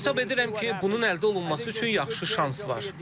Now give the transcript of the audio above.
Hesab edirəm ki, bunun əldə olunması üçün yaxşı şans var.